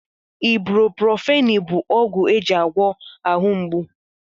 Ibruprofeni bụ ọgwụ eji agwọ ahụ mgbu